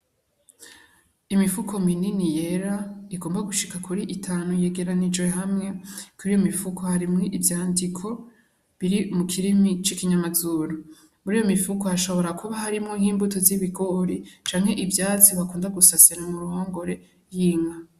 Imifuko minini yera igomba gushika kuri itanu, yegeranirijwe hamwe. Kuri iyo mifuko harimwo ivyandiko biri mu kirimi c'ikinyamazuru. Muriyo mifuko hashobora kuba harimwo nk'imbuto z'ibigori, canke ivyatsi bakunda gusasira mu ruhongore h'inka.